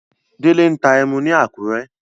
Délé ń ta ẹmu ni Àkúrẹ́.